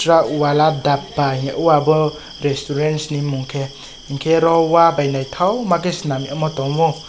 truck wala dappa hingye o obo resturants ni mong khe hingke oro wa bai naitokma ke senamyo tongo.